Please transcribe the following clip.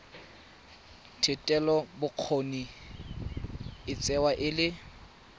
thetelelobokgoni e tsewa e le